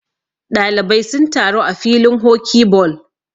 ɗalibai sun taru a filin hoki ball